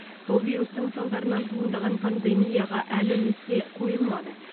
сол вирустың салдарынан туындаған пандемияға әлі нүкте қойылмады